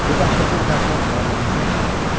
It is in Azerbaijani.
Bu dəhşətli təəssürat varlığımı sarsıdırdı.